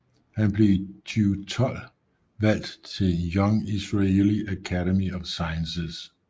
Han blev i 2012 valgt til Young Israeli Academy of Sciences